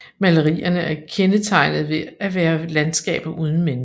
Malerierne er kendetegnet ved at være landskaber uden mennesker